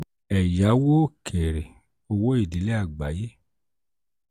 eyawo òkèèrè/owó-ìdílé àgbáyé: òkèèrè/owó-ìdílé àgbáyé: 28.1